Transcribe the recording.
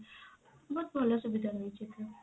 ବହୁତ ଭଲ ସୁବିଧା ରହିଛି ଏଥିରେ।